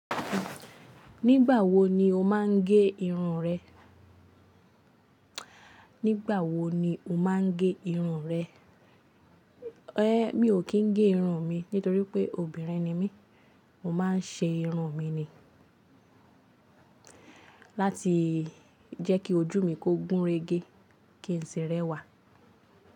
Nígbà wo ni o máa ń gẹ irun rẹ? Nígbà wo ni o máa ń gẹ irun rẹ? É mi ò kí ń gẹ irun mi, nítorí pé obìnrin ni mí, mo máa ń ṣe irun mi ni. Láti jẹ́ kí ojú mi kó gúnrégé, kí n sì rẹwà.